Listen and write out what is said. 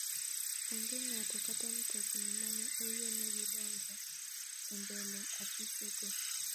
Onge ng'ato kata mtokni mane oyienegi donjo e mbele afise go.